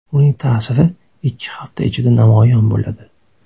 Uning ta’siri ikki hafta ichida namoyon bo‘ladi.